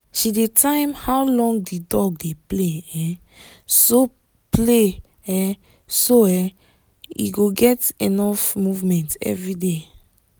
she dey time how long the dog dey play um so play um so e um go get enough movement every day